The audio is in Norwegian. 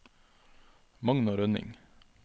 Magna Rønning